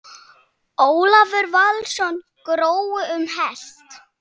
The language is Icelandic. Ólafur Valsson: Grói um heilt?